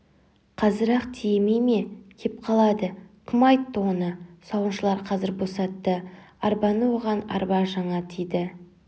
қазір-ақ тиемей ме кеп қалады кім айтты оны сауыншылар қазір босатты арбаны оған арба жаңа тиді